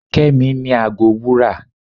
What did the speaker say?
kemi ni àgó wúrà